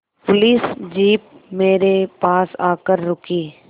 police jeep मेरे पास आकर रुकी